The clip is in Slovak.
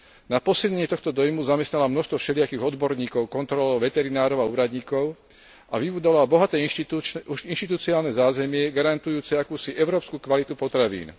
Na posilnenie tohto dojmu zamestnala množstvo všelijakých odborníkov, kontrolórov, veterinárov a úradníkov a vybudovala bohaté inštitucionálne zázemie garantujúce akúsi európsku kvalitu potravín.